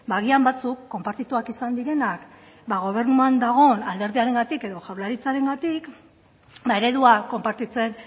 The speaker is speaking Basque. agian batzuk konpartituak izan direnak gobernuan dagoen alderdiarengatik edo jaurlaritzarengatik eredua konpartitzen